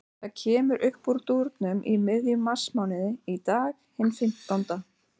Það kemur uppúr dúrnum í miðjum marsmánuði, í dag, hinn fimmtánda.